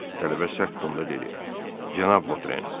Tələbə sərt donda dedi: Cənab Votren.